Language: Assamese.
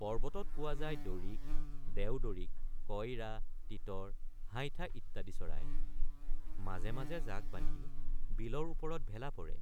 পৰ্বতত পোৱা যায় ডৰিক দেওডৰিক কইৰা তিতৰ হাইঠা ইত্যাদি চৰাই ৷ মাজে মাজে জাক বান্ধি বিলৰ ওপৰত ভেলা পৰে